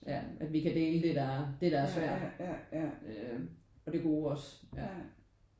Ja at vi kan dele det der det der er svært og det gode også ja